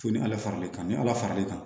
Fo ni ala fara l'i kan ni ala far'i kan